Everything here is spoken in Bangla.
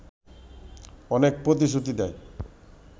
অনেক প্রতিশ্রুতি দেয়